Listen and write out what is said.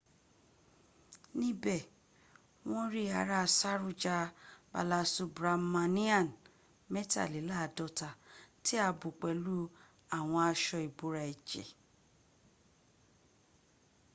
níbè wọn rí ará saroja balasubramanian métàlẹ́làáadọ́ta tí a bò pèlú àwọn aṣo ìbora ẹ̀jẹ